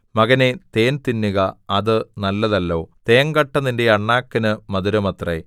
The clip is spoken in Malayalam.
മകനേ തേൻ തിന്നുക അത് നല്ലതല്ലോ തേങ്കട്ട നിന്റെ അണ്ണാക്കിന് മധുരമത്രേ